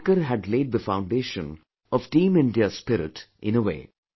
Ambedkar had laid the foundation of Team India's spirit in a way